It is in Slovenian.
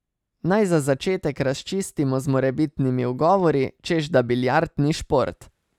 Naj za začetek razčistimo z morebitnimi ugovori, češ da biljard ni šport.